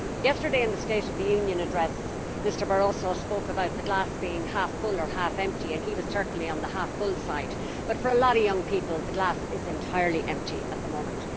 Yesterday, in the State of the Union address, Mr Barroso spoke about the glass being half full or half empty, and he was certainly on the half full side, but for a lot of young people the glass is entirely empty at the moment.